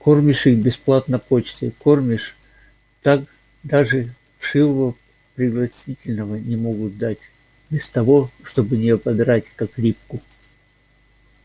кормишь их бесплатно почтой кормишь так даже вшивого пригласительного не могут дать без того чтобы не ободрать как липку